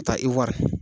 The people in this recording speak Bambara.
Ka taa i wari